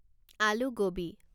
আলু গোবি